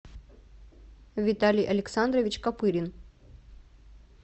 виталий александрович копырин